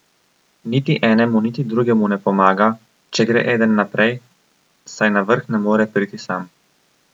Niti enemu niti drugemu ne pomaga, če gre eden naprej, saj na vrh ne more priti sam.